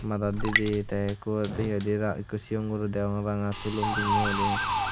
madat didey tey ikkot hihoidey aa ikko chiyon guro degong ranga sulum pinyeguri.